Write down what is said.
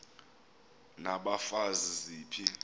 n abafazi ziphi